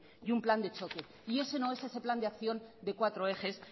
y un plan de choque y ese no es ese plan de acción de cuatro ejes